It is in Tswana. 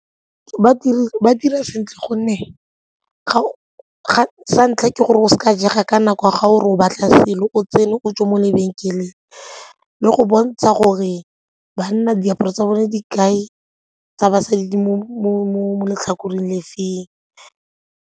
Ba dira sentle gonne sa ntlha ke gore go seka jega ka nako ga o re o batla selo o tsene o tswa mo lebenkeleng le go bontsha gore banna diaparo tsa bone di kae, tsa basadi di mo letlhakoreng le feng.